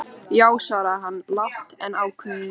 Já, svaraði hann lágt en ákveðið.